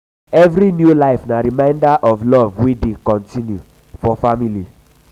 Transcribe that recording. um every new life na reminder of love wey dey continue wey dey continue for family.